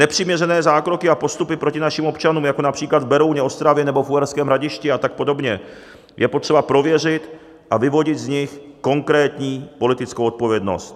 Nepřiměřené zákroky a postupy proti našim občanům, jako například v Berouně, Ostravě nebo v Uherském Hradišti a tak podobně, je potřeba prověřit a vyvodit z nich konkrétní politickou odpovědnost.